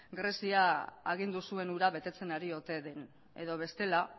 grezia agindu zuen hura betetzen ari ote den edo bestela